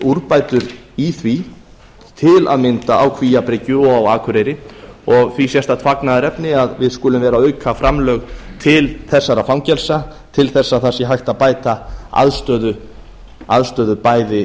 úrbætur í því til að mynda á kvíabryggju og á akureyri og því sérstakt fagnaðarefni að við skulum vera að auka framlög til þessara fangelsa til þess að það sé hægt að bæta aðstöðu